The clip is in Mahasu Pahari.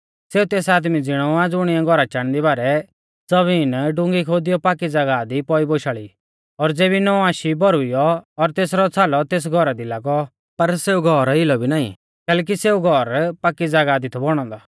सेऊ तेस आदमी ज़िणौ आ ज़ुणिऐ घौरा चाणदी बारै ज़बीन डुंगी खोदियौ पाकी ज़ागाह दी पौई बोशाल़ी आ और ज़ेबी नौं आशी बौरुईयौ और तेसरौ छ़ालौ तेस घौरा दी लागौ पर सेऊ घौर हिलौ भी नाईं कैलैकि सेऊ घौर पाकी ज़ागाह दी थौ बौणौ औन्दौ